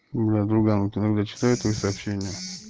бля друган вот она блять читает твои сообщения